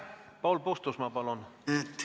Paul Puustusmaa, palun!